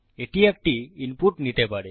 এটি একটি ইনপুট নিতে পারে